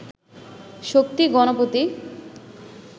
Shakti Ganapati